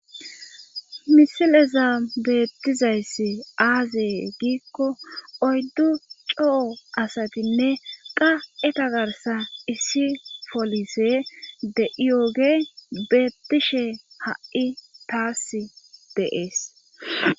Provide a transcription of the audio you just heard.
Misileza beettizayssi aazee giikko oyddu coo asatinne qa7eta garsa issi polise de7iyooge beettishe ha7i taas deees.